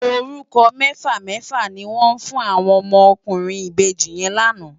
Órúkò mèfá mèfá ni wòn fún áwòn òmò òkúrin ibéji yèn làná